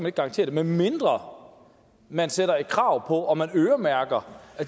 ikke garantere det medmindre man sætter et krav på og øremærker